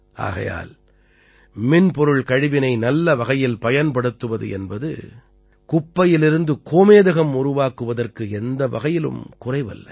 ஆகையால் மின்பொருள் கழிவினை நல்லவகையில் பயன்படுத்துவது என்பது குப்பையிலிருந்து கோமேதகம் உருவாக்குதற்கு எந்த வகையிலும் குறைவல்ல